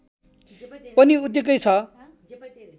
पनि उत्तिकै छ